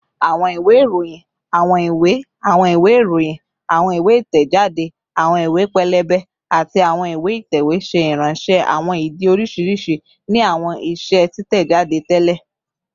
Awọn iwe iroyin, awọn iwe, awọn iwe iroyin, awọn iwe itẹjade, awọn iwe pẹlẹbẹ, ati awọn iwe itẹwe ṣe iranṣẹ awọn idi oriṣiriṣi ni awọn iṣe titẹjade tẹlẹ